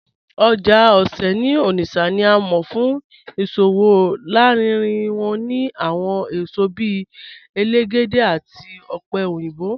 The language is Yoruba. Oja Ose ni Onitsha ni à mọ̀ fún iṣowo lárínrín wọn nínú awọn èṣọ bíì èlégédè àti ọpẹ̀ oyinbọ̀.